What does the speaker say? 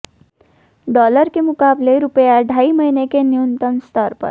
dollar के मुकाबले रुपया ढ़ाई महीने के न्यूनतम स्तर पर